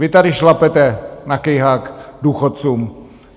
Vy tady šlapete na kejhák důchodcům!